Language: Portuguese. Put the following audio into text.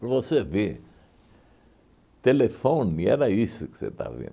Para você ver, telefone, era isso que você estava vendo.